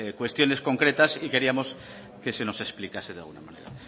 cuestiones concretas y queríamos que se nos explicase de alguna manera